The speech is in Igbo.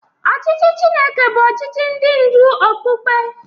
Ọchịchị Chineke bụ ọchịchị ndị ndú okpukpe.